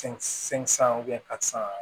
San ka san